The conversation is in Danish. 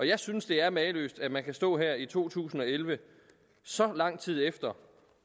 jeg synes det er mageløst at man kan stå her i to tusind og elleve så lang tid efter